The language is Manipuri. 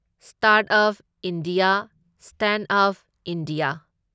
startup India, standup India